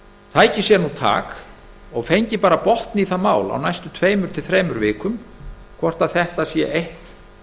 tæki sér nú tak og fengi botn í það mál á næstu tveimur til þremur vikum hvort þetta sé eitt